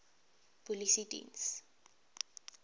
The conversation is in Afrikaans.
polisiediens